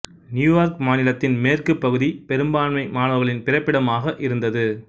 New York மாநிலத்தின் மேற்குப் பகுதி பெரும்பான்மை மாணவர்களின் பிறப்பிடமாக இருந்தது